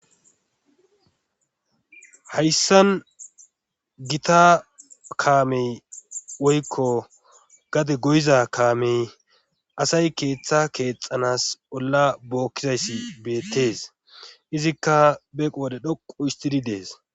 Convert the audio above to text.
hayssan gita kaamey woykko gade goyiza kaamey asay keeththa keexanas bolla bookkizayssi beettees izikka beeqo wode dhoqu istidi dees